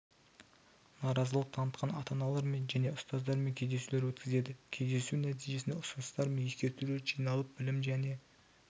наразылық танытқан ата-аналармен және ұстаздармен кездесулер өткізеді кездесу нәтижесінде ұсыныстар мен ескертулер жиналып білім және